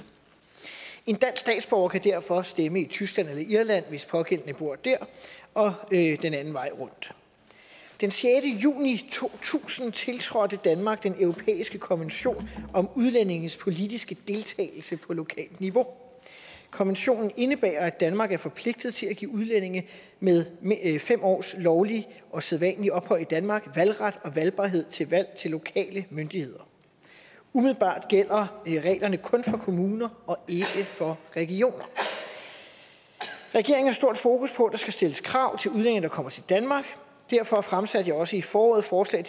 en dansk statsborger kan derfor stemme i tyskland eller irland hvis den pågældende bor der og den anden vej rundt den sjette juni to tusind tiltrådte danmark den europæiske konvention om udlændinges politiske deltagelse på lokalt niveau konventionen indebærer at danmark er forpligtet til at give udlændinge med fem års lovligt og sædvanligt ophold i danmark valgret og valgbarhed til valg til lokale myndigheder umiddelbart gælder reglerne kun for kommuner og ikke for regioner regeringen har stort fokus på at der skal stilles krav til udlændinge der kommer til danmark derfor fremsatte jeg også i foråret forslag